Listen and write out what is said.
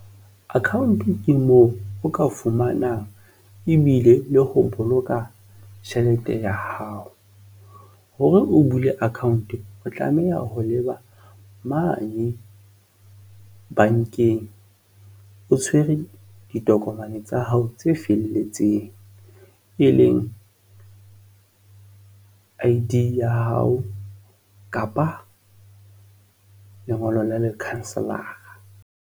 Account ke moo o ka fumanang ebile le ho boloka tjhelete ya hao, hore o bule account-o tlameha ho leba mane bankeng, o tshwere ditokomane tsa hao tse felletseng e leng I_D ya hao kapa lengolo la lekhanselara.